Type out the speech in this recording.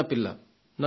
నన్ను కలిసింది